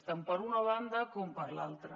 tant per una banda com per l’altra